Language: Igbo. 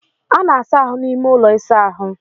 A na-asa ahụ n'ime ụlọ ịsa ahụ.